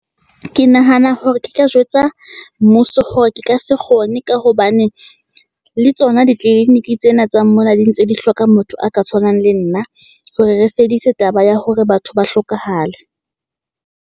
Ke nahana hore ke ka jwetsa mmuso hore ke ka se kgone. Ka hobane le tsona di clinic tsena tsa mona di ntse di hloka motho a ka tshwanang le nna, hore re fedise taba ya hore batho ba hlokahale.